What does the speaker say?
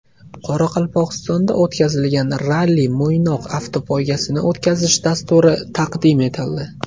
Qoraqalpog‘istonda o‘tkaziladigan Ralli Mo‘ynoq avtopoygasini o‘tkazish dasturi taqdim etildi.